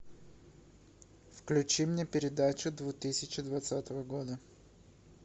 включи мне передачу две тысячи двадцатого года